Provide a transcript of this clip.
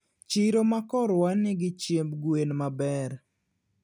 Chiro ma korwa nigi chiemb gwen maber